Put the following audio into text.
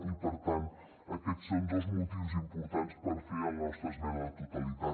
i per tant aquests són dos motius importants per fer la nostra esmena a la totalitat